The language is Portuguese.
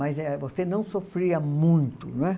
Mas é você não sofria muito, não é?